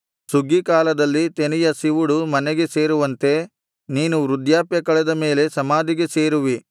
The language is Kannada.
ಸುಗ್ಗೀಕಾಲದಲ್ಲಿ ತೆನೆಯ ಸಿವುಡು ಮನೆಗೆ ಸೇರುವಂತೆ ನೀನು ವೃದ್ಧಾಪ್ಯ ಕಳೆದ ಮೇಲೆ ಸಮಾಧಿಗೆ ಸೇರುವಿ